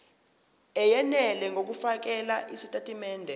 eyenele ngokufakela izitatimende